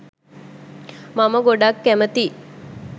මම ගොඩක් කැමැති.